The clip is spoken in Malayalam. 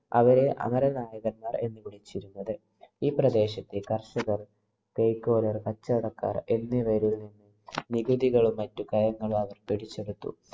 അവരെ അമരനായകന്മാര്‍ എന്ന് വിളിച്ചിരുന്നത്. ഈ പ്രദേശത്തെ കര്‍ഷകര്‍, , കച്ചവടക്കാര്‍ എന്നിവരില്‍ നിന്നും നികുതികളും മറ്റു കരങ്ങളും അവര്‍ പിടിച്ചെടുത്തു.